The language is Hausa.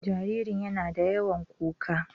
Jaririn yana da yawan kuka